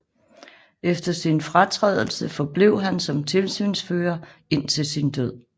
Efter sin fratrædelse forblev han som tilsynsfører indtil sin død